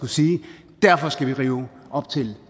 sige derfor skal vi rive op til